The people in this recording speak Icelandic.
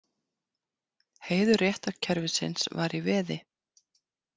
Heiður réttarkerfisins var í veði.